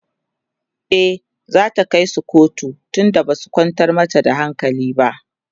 e zata kaisu kotu tun da Basu kwantar mata da hankali ba